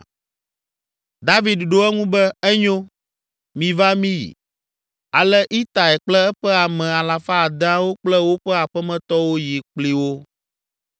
David ɖo eŋu be, “Enyo, miva míyi.” Ale Itai kple eƒe ame alafa adeawo kple woƒe aƒemetɔwo yi kpli wo.